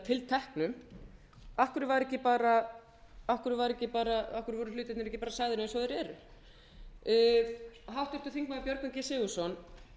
tilteknum af hverju var ekki bara af hverju voru hlutirnir ekki bara sagðir eins og þeir eru háttvirtir þingmenn björgvin g sigurðsson